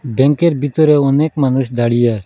ব্যাঙ্কের বিতরে অনেক মানুষ দাঁড়িয়ে আছে।